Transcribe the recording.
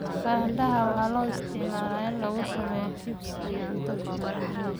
Baradhada waxaa loo isticmaalaa in lagu sameeyo chips iyo cunto fudud.